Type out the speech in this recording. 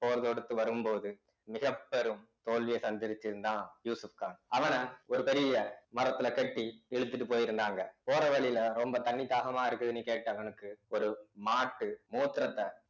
போர் தொடுத்து வரும்போது மிகப்பெரும் தோல்வியை சந்திருச்சதுதான் யூசுப்கான் அவன ஒரு பெரிய மரத்துல கட்டி இழுத்துட்டு போயிருந்தாங்க போற வழியில ரொம்ப தண்ணி தாகமா இருக்குதுன்னு கேட்டவனுக்கு ஒரு மாட்டு மூத்திரத்தை